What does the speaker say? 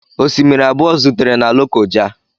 Osimiri abụọ zutere na Lokoja.